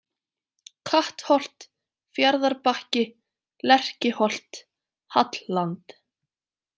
Kattholt, Fjarðarbakki, Lerkiholt, Hallland